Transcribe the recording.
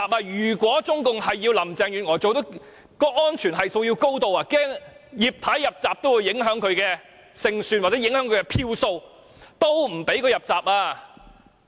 如果中共是要讓林鄭月娥勝出，安全系數便要推得很高，萬一"葉太""入閘"會影響她的勝算或票數，也不准"葉太""入閘"。